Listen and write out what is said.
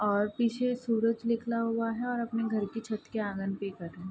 और पीछे सूरज निकला हुआ है और अपने घर के छत के आंगन पे एक --